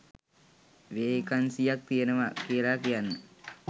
වේකන්සියක් තියෙනවා කියලා කියන්න.